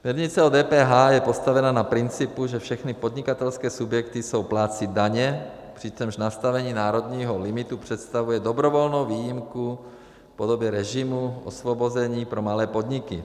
Směrnice o DPH je postavena na principu, že všechny podnikatelské subjekty jsou plátci daně, přičemž nastavení národního limitu představuje dobrovolnou výjimku v podobě režimu osvobození pro malé podniky.